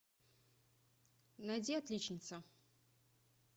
найди отличница